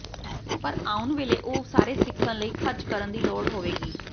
ਪਰ ਆਉਣ ਵੇਲੇ ਉਹ ਸਾਰੇ ਸਿੱਖਣ ਲਈ ਖਰਚ ਕਰਨ ਦੀ ਲੋੜ ਹੋਵੇਗੀ